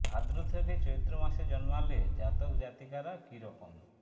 ভাদ্র থেকে চৈত্র মাসে জন্মালে জাতক জাতিকারা কী রকম